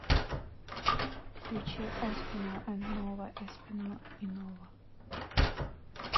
включи эспинал энд нова эспинал и нова